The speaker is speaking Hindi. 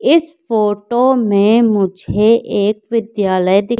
इस फोटो में मुझे एक विद्यालय दिख--